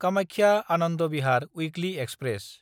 कामाख्या–आनन्द Bihar weekly express